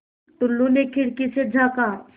टुल्लु ने खिड़की से झाँका